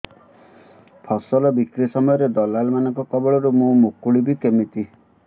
ଫସଲ ବିକ୍ରୀ ସମୟରେ ଦଲାଲ୍ ମାନଙ୍କ କବଳରୁ ମୁଁ ମୁକୁଳିଵି କେମିତି